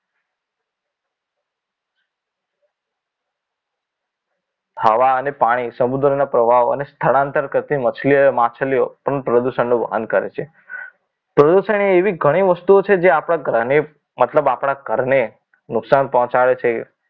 હવા અને પાણી સમુદ્રના પ્રવાહ અને સ્થળાંતર કરતી માછલી માછલીઓ પણ પ્રદૂષણનું વહન કરે છે પ્રદૂષણ એ એવી ઘણી વસ્તુઓ છે જે આપણા ગ્રહને મતલબ આપણા ઘરને નુકસાન પહોંચાડે છે